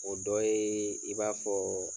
O dɔ ye i b'a fɔ